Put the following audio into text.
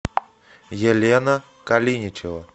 елена калиничева